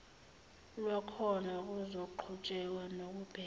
lwakhona kuzoqhutshekwa nokubheka